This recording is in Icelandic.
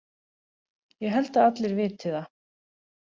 Ég held að allir viti það.